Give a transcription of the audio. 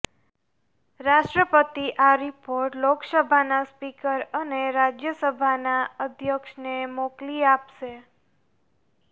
રાષ્ટ્રપતિ આ રિપોર્ટ લોકસભાના સ્પીકર અને રાજ્યસભાના અધ્યક્ષને મોકલી આપશે